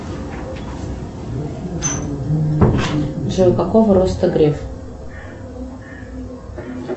джой какого роста греф